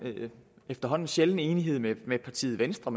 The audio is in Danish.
efterhånden sjælden enighed med partiet venstre